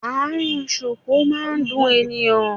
Àárín ṣuku má ń fún èèyàn